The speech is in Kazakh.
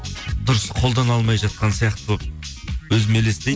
дұрыс қолдана алмай жатқан сияқты болып өзім